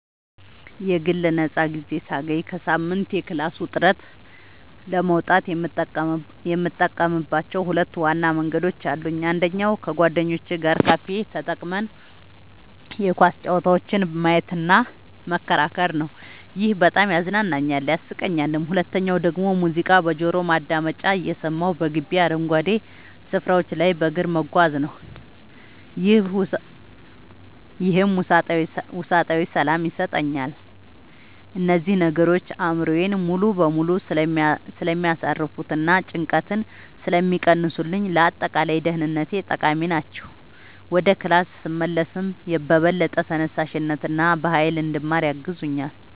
የግል ነፃ ጊዜ ሳገኝ ከሳምንቱ የክላስ ውጥረት ለመውጣት የምጠቀምባቸው ሁለት ዋና መንገዶች አሉኝ። አንደኛው ከጓደኞቼ ጋር ካፌ ተቀምጠን የኳስ ጨዋታዎችን ማየትና መከራከር ነው፤ ይሄ በጣም ያዝናናኛል፣ ያሳቀኛልም። ሁለተኛው ደግሞ ሙዚቃ በጆሮ ማዳመጫ እየሰማሁ በግቢው አረንጓዴ ስፍራዎች ላይ በእግር መጓዝ ነው፤ ይህም ውስጣዊ ሰላም ይሰጠኛል። እነዚህ ነገሮች አእምሮዬን ሙሉ በሙሉ ስለሚያሳርፉትና ጭንቀትን ስለሚቀንሱልኝ ለአጠቃላይ ደህንነቴ ጠቃሚ ናቸው። ወደ ክላስ ስመለስም በበለጠ ተነሳሽነትና በሃይል እንድማር ያግዙኛል።